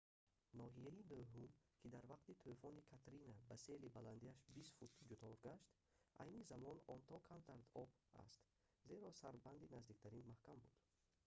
ноҳияи нӯҳум ки дар вақти тӯфони катрина ба сели баландиаш 20 фут дучор гашт айни замон он то камар дар об аст зеро сарбанди наздиктарин маҳкам буд